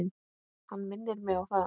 Ég minni mig á það.